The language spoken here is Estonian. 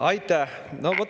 Aitäh!